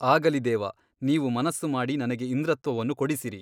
ಆಗಲಿ ದೇವ ನೀವು ಮನಸ್ಸು ಮಾಡಿ ನನಗೆ ಇಂದ್ರತ್ವವನ್ನು ಕೊಡಿಸಿರಿ.